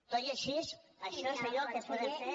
tot i així això és allò que podem fer